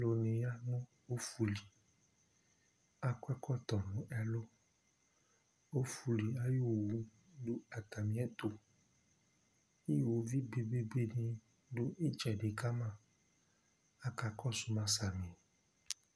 ɔlò ya no ɔfu li akɔ ɛkɔtɔ no ɛlu ɔfu li ayi owu do atami ɛto uwoviu be be be di do itsɛdi ka ma aka kɔsu ma sami